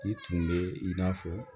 I tun bɛ i n'a fɔ